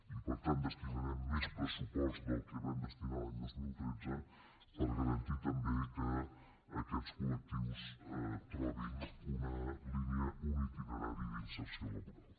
i per tant destinarem més pressupost del que vam destinar l’any dos mil tretze per garantir també que aquests collectius trobin una línia un itinerari d’inserció laboral